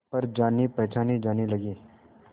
पर जानेपहचाने जाने लगे